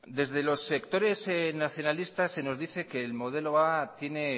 desde los sectores nacionalistas se nos dice que el modelo a tiene